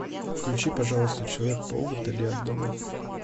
включи пожалуйста человек паук вдали от дома